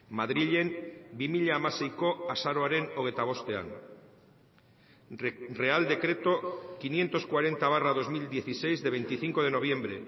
madrilen bi mila hamaseiko azaroaren hogeita bostean real decreto quinientos cuarenta barra dos mil dieciséis de veinticinco de noviembre